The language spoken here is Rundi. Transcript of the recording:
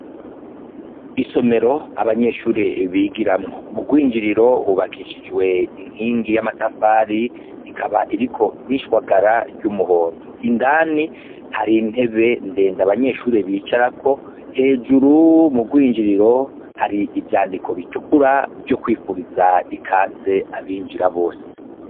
Isomero abanyeshure bigiramwo, mu rwinjiriro hubakishijwe inkingi y'amatafari ikaba iriko n'ishwagara ry'umuhondo, indani hari intebe ndende abanyeshuri bicarako, hejuru mu rwinjiriro hari ivyandiko bitukura vyo kwifuriza ikaze abinjira bose.